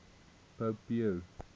pope pius